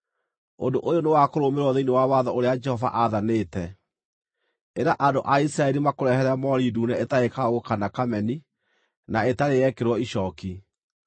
“Ũndũ ũyũ nĩ wa kũrũmĩrĩrwo thĩinĩ wa watho ũrĩa Jehova aathanĩte: Ĩra andũ a Isiraeli makũrehere moori ndune ĩtarĩ kaũũgũ kana kameni, na ĩtarĩ yekĩrwo icooki.